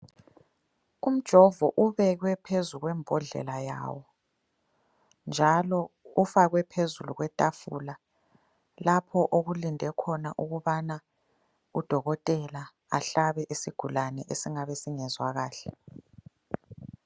Umjombo ubekwe phezu kwembodlela yawo, njalo ufakwe phezulu kwetafula lapho okulinde khona ukubana udokotela ahlabe isigulani esingabe singezwa kahle.